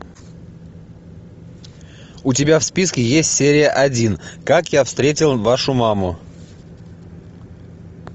у тебя в списке есть серия один как я встретил вашу маму